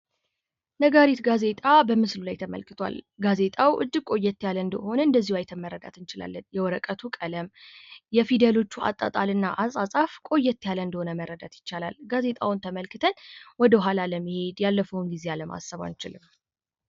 ነጋሪት ጋዜጣ በምስሉ ላይ ተመልክቱዋል። ነጋሪት ጋዜጣ እጅግ ቆየት ያለ መሆኑ ማየት ይቻላል፣ የወረቀቶቹ ቀለም፣ የፊደሎቹ አጣጣል ቆየት ያለ መሆኑን ያሳያሉ ፤ ጋዜጣውን ተመልክተን ወደኋላ አለመሄድ አይቻልም።